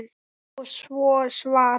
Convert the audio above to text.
Og svo varð.